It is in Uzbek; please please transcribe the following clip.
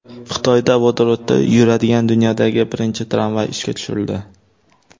Xitoyda vodorodda yuradigan dunyodagi birinchi tramvay ishga tushirildi.